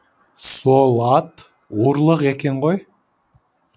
сол ат ұрлық екен ғой